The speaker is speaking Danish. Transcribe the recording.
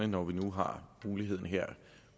når vi nu har muligheden her